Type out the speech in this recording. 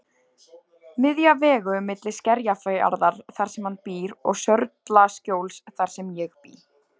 Miðja vegu milli Skerjafjarðar þar sem hann býr og Sörlaskjóls þar sem ég bý.